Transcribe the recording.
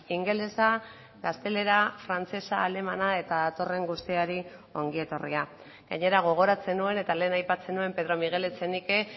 ingelesa gaztelera frantsesa alemana eta datorren guztiari ongi etorria gainera gogoratzen nuen eta lehen aipatzen nuen pedro miguel echenique